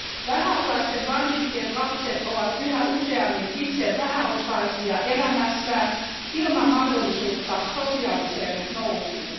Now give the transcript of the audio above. Vähäosaisten vanhempien lapset ovat yhä useammin itse vähäosaisia elämässään, ilman mahdollisuutta sosiaaliseen nousuun.